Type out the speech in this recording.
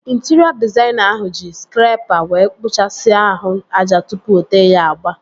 Intịrịọ dịzaịna ahụ ji skrepa wee kpuchasia ahụ aja tụpụ o tee ya agba